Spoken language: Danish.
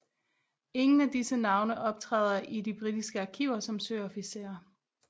Ingen af disse navne optræder i de britiske arkiver som søofficerer